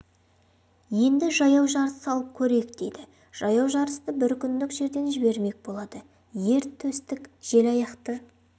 енді жаяу жарыс салып көрейік дейді жаяу жарысты бір күндік жерден жібермек болады ер төстік желаяқты